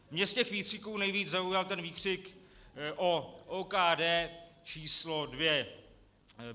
Mě z těch výkřiků nejvíc zaujal ten výkřik o OKD číslo dvě.